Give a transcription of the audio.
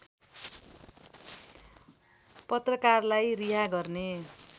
पत्रकारलाई रिहा गर्ने